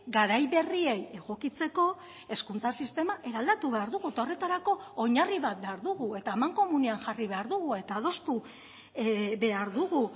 garai berriei egokitzeko hezkuntza sistema eraldatu behar dugu eta horretarako oinarri bat behar dugu eta amankomunean jarri behar dugu eta adostu behar dugu